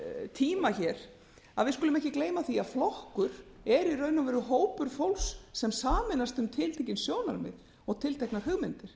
tíma hér við skulum ekki gleyma því að flokkur er í raun og veru hópur fólks sem sameinast um tiltekin sjónarmið og tilteknar hugmyndir